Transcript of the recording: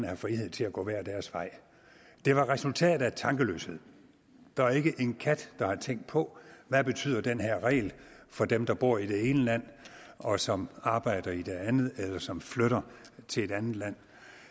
have frihed til at gå hver deres vej det var et resultat af tankeløshed der er ikke en kat der har tænkt på hvad betyder den her regel for dem der bor i det ene land og som arbejder i det andet eller som flytter til et andet land